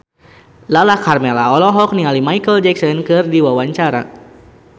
Lala Karmela olohok ningali Micheal Jackson keur diwawancara